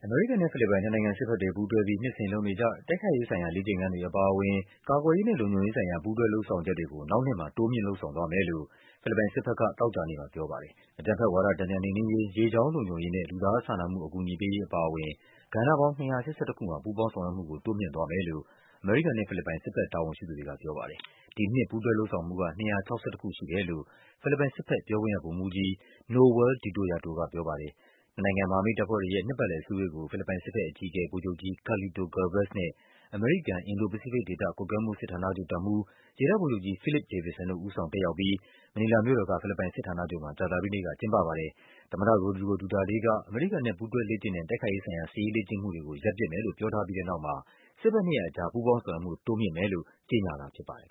မေရိကန်နဲ့ ဖိလစ်ပိုင် နှစ်နိုင်ငံစစ်ဘက်တွေပူးတွဲပြီး နှစ်စဉ်လုပ်နေကျ တိုက်ခိုက်ရေးဆိုင်ရာ လေ့ကျင့်ခန်းတွေအပါအဝင် ကာကွယ်ရေးနဲ့ လုံခြုံရေးဆိုင်ရာ ပူးတွဲလုပ်ဆောင်ချက်တွေကို နောက်နှစ်မှာ တိုးမြှင့်လုပ်ဆောင်သွားမယ်လို့ ဖိလစ်ပိုင်စစ်ဘက် က သောကြာနေ့မှာပြောပါတယ်။ အကြမ်းဖက်ဝါဒ တန်ပြန်နှိမ်နင်းရေး၊ ရေကြောင်းလုံခြုံရေးနဲ့ လူသားစာနာမှုအကူအညီပေးရေးအပါအဝင် ကဏ္ဍပေါင်း ၂၈၁ ခုမှာ ပူးပေါင်းဆောင်ရွက်မှုကို တိုးမြှင့်သွားမယမ်လို့ အမေရိကန်နဲ့ဖိလစ်ပိုင် စစ်ဘက်တာဝန်ရှိသူတွေက ပြောပါတယ်။ ဒီနှစ် ပူးတွဲ လုပ်ဆောင်မှုက ၂၆၁ ခုရှိတယ်လို့ ဖိလစ်ပိုင်စစ်ဘက်ပြောခွင့်ရ ဗိုလ်မှူးကြီး Nowel Detoyato ကပြောပါတယ်။ နှစ်နိုင်ငံမဟာမိတ်တပ်ဖွဲ့တွေရဲ့ နှစ်ပတ်လည်အစည်းအဝေးကို ဖိလစ်ပိုင်စစ်ဘက်အကြီးအကဲ ဗိုလ်ချုပ်ကြီး Carlito Galvez နဲ့ အမေရိကန်၊ အင်ဒို-ပစိဖိတ်ဒေသ ကွပ်ကွဲမှုစစ်ဌာနချုပ် တပ်မှူး ရေတပ်ဗိုလ်ချုပ်ကြီး Philip Davidson တို့ ဦးဆောင်တက်ရောက် ပြီး မနီလာမြို့တော်က ဖိလစ်ပိုင်စစ်ဌာနချုပ်မှာ ကြာသပတေးနေ့က ကျင်းပပါတယ်။ ဖိလစ်ပိုင်သမ္မတ ရိုဒရီဂို ဒူတာတေးက အမေရိကန်နဲ့ ပူးတွဲလေ့ကျင့်တဲ့ တိုက်ခိုက်ရေးဆိုင်ရာ စစ်ရေးလေ့ကျင့်မှုတွေကို ရပ်ပစ်မယ်လို့ ပြောထားပြီးတဲ့နောက်မှာ စစ်ဘက်နှစ်ရပ်ကြား ပူးပေါင်းဆောင်ရွက်မှု တိုးမြှင့်မယ်လို့ ကြေညာတာဖြစ်ပါတယ်